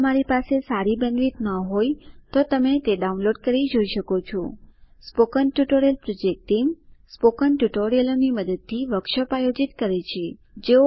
જો તમારી પાસે સારી બેન્ડવિડ્થ ન હોય તો તમે ડાઉનલોડ કરી તે જોઈ શકો છો spoken tutorial project team spoken ટ્યુટોરીયલોની મદદથી વર્કશોપ આયોજિત કરે છે